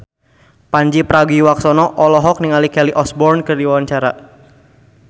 Pandji Pragiwaksono olohok ningali Kelly Osbourne keur diwawancara